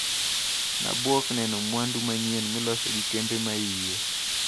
Nabuok neno mwandu manyien miloso gi kembe maie.